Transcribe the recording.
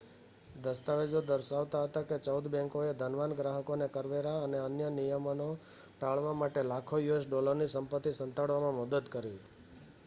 દસ્તાવેજો દર્શાવતા હતાં કે ચૌદ બૅંકોએ ધનવાન ગ્રાહકોને કરવેરા અને અન્ય નિયમનો ટાળવા માટે લાખો યુએસ ડૉલરની સંપત્તિ સંતાડવામાં મદદ કરી